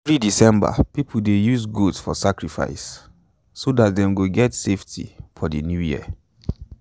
every december people dey use goat for sacrifice so dat them go get safety for the new year.